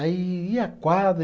Aí, e a quadra?